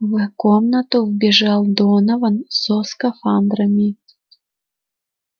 в комнату вбежал донован со скафандрами